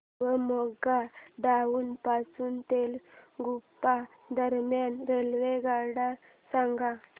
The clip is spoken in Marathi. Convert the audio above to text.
शिवमोग्गा टाउन पासून तलगुप्पा दरम्यान रेल्वेगाड्या सांगा